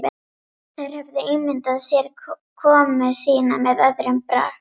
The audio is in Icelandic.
Þeir höfðu ímyndað sér komu sína með öðrum brag.